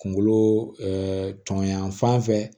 Kunkolo tɔn yan fan fɛ